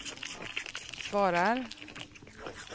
svarar